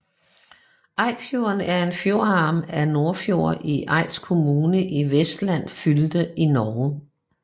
Eidsfjorden er en fjordarm af Nordfjord i Eid kommune i Vestland fylke i Norge